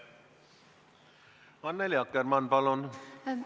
Annely Akkermann, palun!